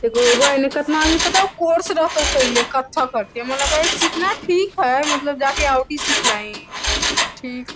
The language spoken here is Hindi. कतना आदमी पता हो कोर्स रहतो करले कत्थक करके हमरा लगा सीखना ठीक है मतलब जा कर आउ भी सिख लाइ ठीक।